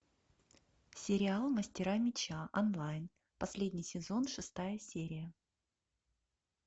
сериал мастера меча онлайн последний сезон шестая серия